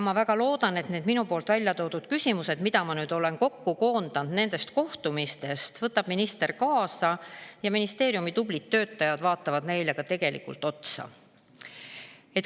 Ma väga loodan, et minu välja toodud küsimused, mille ma olen kokku koondanud nendest kohtumistest, võtab minister kaasa ja ministeeriumi tublid töötajad vaatavad neile ka tegelikult otsa.